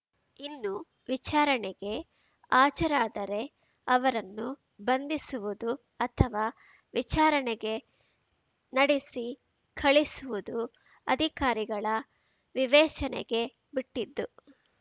ಇನ್ನು ವಿಚಾರಣೆಗೆ ಹಾಜರಾದರೆ ಅವರನ್ನು ಬಂಧಿಸುವುದು ಅಥವಾ ವಿಚಾರಣೆಗೆ ನೆಡೆಸಿ ಕಳುಹಿಸುವುದು ಅಧಿಕಾರಿಗಳ ವಿವೇಚನೆಗೆ ಬಿಟ್ಟಿದ್ದು